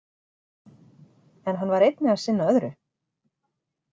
En hann var einnig að sinna öðru.